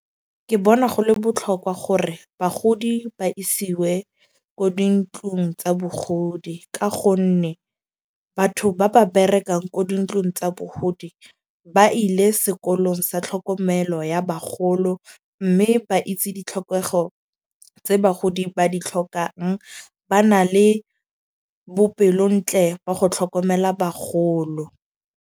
Ke bona go le botlhokwa gore bagodi ba isiwe ko dintlong tsa bogodi. Ka gonne batho ba ba berekang ko dintlong tsa bogodi, ba ile sekolong sa tlhokomelo ya bagolo. Mme ba itse ditlhokego tse bagodi ba di tlhokang. Ba na le bopelo ntle ba go tlhokomela bagolo.